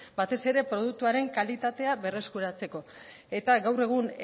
batez ere produktuaren kalitatea berreskuratzeko eta gaur egun